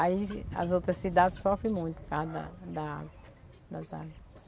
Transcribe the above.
Aí as outras cidades sofrem muito por causa da da água das águas.